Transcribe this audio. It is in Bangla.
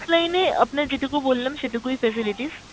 offline এ আপনার যেটুকু বললাম সেটুকুই facilities,